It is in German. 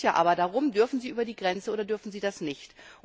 Es geht aber darum Dürfen sie über die Grenze oder dürfen sie das nicht?